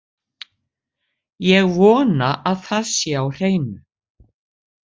Ég vona að það sé á hreinu.